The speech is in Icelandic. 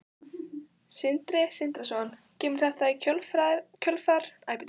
Sindri Sindrason: Kemur þetta í kjölfar umræðunnar um Straum?